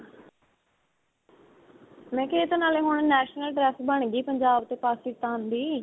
ਮੈਂ ਕਿਹਾ ਇਹ ਤਾਂ ਨਾਲੇ ਹੁਣ national dress ਬਣ ਗਈ ਪੰਜਾਬ ਤੇ ਪਾਕਿਸਤਾਨ ਦੀ